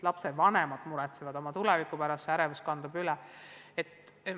Lapsevanemad muretsevad oma tuleviku pärast ja ärevus kandub lastele üle.